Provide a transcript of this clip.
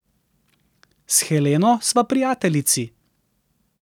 S Heleno sva prijateljici.